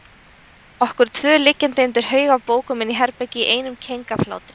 Okkur tvö liggjandi undir haug af bókum inni í herbergi í einum keng af hlátri.